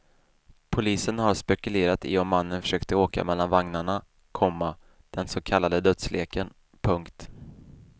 Polisen har spekulerat i om mannen försökte åka mellan vagnarna, komma den så kallade dödsleken. punkt